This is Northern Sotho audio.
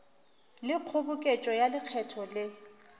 le kgoboketšo ya lekgetho le